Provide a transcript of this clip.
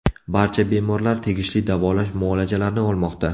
Barcha bemorlar tegishli davolash muolajalarini olmoqda.